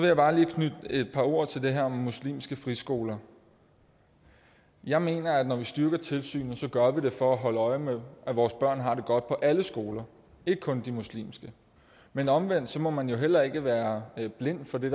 jeg bare lige knytte et par ord til det her om muslimske friskoler jeg mener at når vi styrker tilsynet gør vi det for at holde øje med at vores børn har det godt på alle skoler ikke kun i de muslimske men omvendt må man jo heller ikke være blind for det